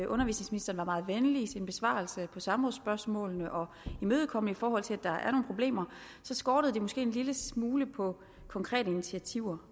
undervisningsministeren var meget venlig i sin besvarelse på samrådsspørgsmålene og imødekommende i forhold til at der er nogle problemer skortede det måske en lille smule på konkrete initiativer